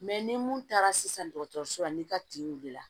Mɛ ni mun taara sisan dɔgɔtɔrɔso la n'i ka tin wilila